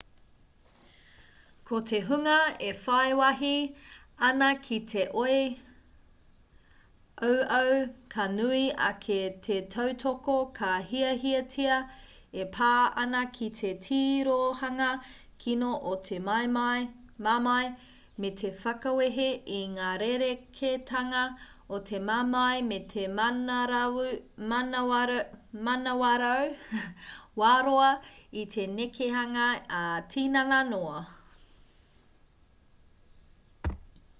ko te hunga e whai wāhi ana ki te oi auau ka nui ake te tautoko ka hiahiatia e pā ana ki te tirohanga kino o te mamae me te whakawehe i ngā rerekētanga o te mamae me te manawarau wā-roa i te nekehanga ā-tinana noa